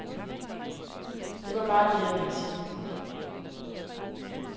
Det var bare det, jeg ville sige.